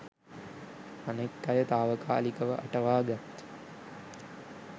අනෙක් අය තාවකාලිකව අටවා ගත්